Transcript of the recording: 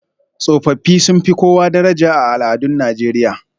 Tsofaffi sun fi kowa daraja a al'adun Najeriya